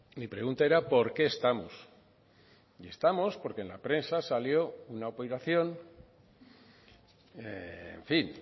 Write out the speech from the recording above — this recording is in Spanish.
mi pregunta era por qué estamos y estamos porque en la prensa salió una operación en fin